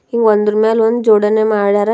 ಇವ್ ಒಂದುರ್ ಮ್ಯಾಲ್ ಒಂದ್ ಜೋಡಣೆ ಮಾಡ್ಯಾರ.